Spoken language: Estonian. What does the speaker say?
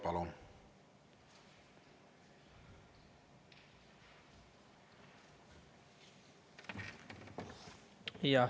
Palun!